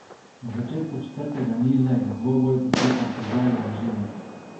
Na začetku četrtega niza je dvoboj potekal po željah Žemlje.